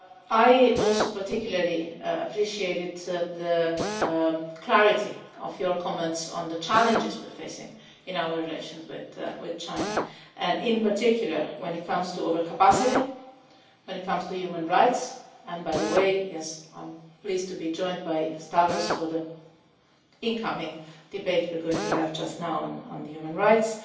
I also particularly appreciated the clarity of your comments on the challenges we are facing in our relations with China, and in particular when it comes to overcapacity, when it comes to human rights and by the way, yes, I am pleased to be joined by Stavros for the incoming debate we are going to have now on human rights